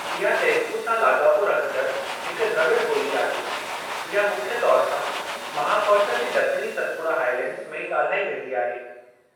इहा तेलुगु सां लाॻापो रखंडड़ हिक द्रविड़ ॿोली आहे, इहा मुख्य तौर सां महाकौशल जे ॾखिणी सतपुड़ा हाइलैंड्स में ॻाल्हाई वेंदी आहे।